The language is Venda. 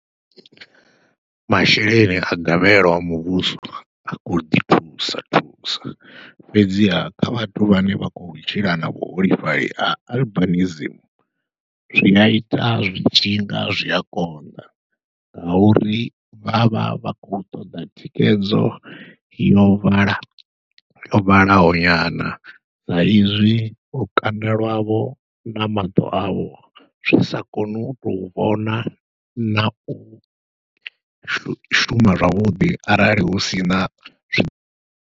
Masheleni a gavhelo a muvhuso a khou ḓi thusa thusa fhedziha kha vhathu vhane vha khou tshila na vhuholefhali ha albinism zwia ita zwi tshinga zwia konḓa, ngauri vha vha khou ṱoḓa thikhedzo yo vhala yo vhalaho nyana sa izwi lukanda lwavho na maṱo avho zwi sa koni utou vhona nau shuma zwavhuḓi arali hu sina zwi.